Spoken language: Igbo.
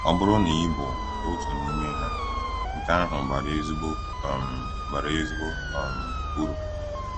Ọ bụrụ na ị bụ otu n’ime ha, nke ahụ bara ezigbo um bara ezigbo um uru.